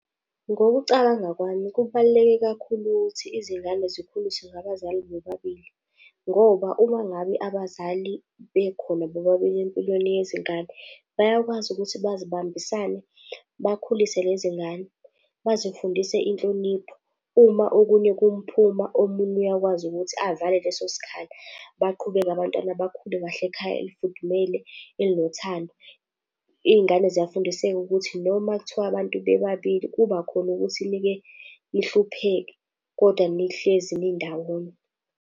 Ngokucabanga kwami kubaluleke kakhulu ukuthi izingane zikhuliswe ngabazali bobabili ngoba uma ngabe abazali bekhona bobabili empilweni yezingane, bayakwazi ukuthi bazibambisane bakhulise lezi ngane, bazifundise inhlonipho. Uma okunye kumphuma, omunye uyakwazi ukuthi avale leso sikhala, baqhubeke abantwana bakhule kahle ekhaya elifudumele elinothando. Iy'ngane ziyafundiseka ukuthi noma kuthiwa abantu bebabili kuba khona ukuthi nike nihlupheke, kodwa nihlezi nindawonye.